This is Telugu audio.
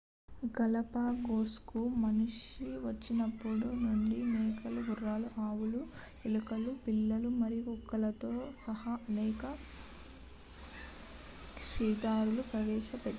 గాలాపాగోస్కు మనిషి వచ్చినప్పటి నుండి మేకలు గుర్రాలు ఆవులు ఎలుకలు పిల్లులు మరియు కుక్కలతో సహా అనేక క్షీరదాలను ప్రవేశపెట్టారు